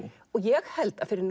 og ég held að fyrir